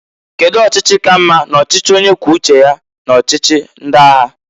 Kedu ọchịchi ka mma n'ọchịchị onye kwuo uche ya n'ọchịchị ndị agha?